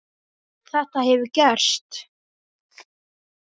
Þetta hefur gerst.